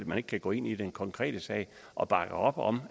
man ikke kan gå ind i den konkrete sag og bakke op om